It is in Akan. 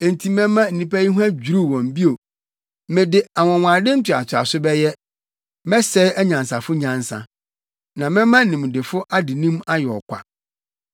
Enti mɛma nnipa yi ho adwiriw wɔn bio mede anwonwade ntoatoaso bɛyɛ; mɛsɛe anyansafo nyansa, na mɛma nimdefo adenim ayɛ ɔkwa.”